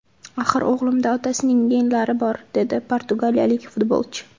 Axir o‘g‘limda otasining genlari bor”, – dedi portugaliyalik futbolchi.